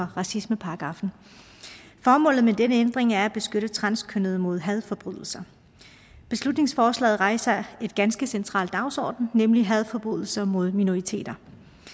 racismeparagraffen formålet med denne ændring er at beskytte transkønnede mod hadforbrydelser beslutningsforslaget rejser en ganske central dagsorden nemlig hadforbrydelser mod minoriteter